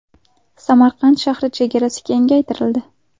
Samarqand shahri chegarasi kengaytirildi.